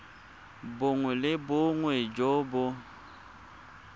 bongwe le bongwe jo bo